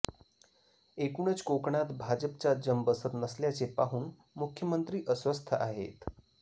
एकूणच कोकणात भाजपचा जम बसत नसल्याचे पाहून मुख्यमंत्री अस्वस्थ आहेत